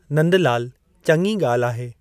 नंदलालु: चङी गा॒ल्हि आहे।